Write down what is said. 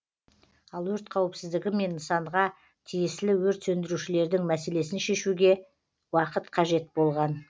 ал өрт қауіпсіздігі мен нысанға тиесілі өрт сөндірушілердің мәселесін шешуге уақыт қажет болған